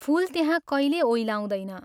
फूल त्यहाँ कैले ओइलाउँदैन।